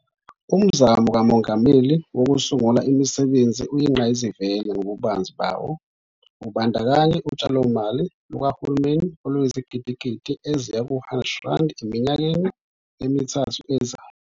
Umzamo kaMongameli Wokusungula Imisebenzi uyingqayizivele ngobubanzi bawo, ubandakanya utshalomali lukahulumeni oluyizigidigidi eziyi-R100 eminyakeni emithathu ezayo.